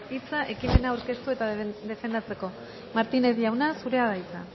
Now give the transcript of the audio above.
hitza ekimena aurkeztu eta defendatzeko martínez jauna zurea da hitza